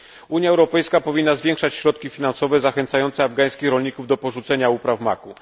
Unia Europejska powinna zwiększać środki finansowe zachęcające afgańskich rolników do porzucenia upraw maku.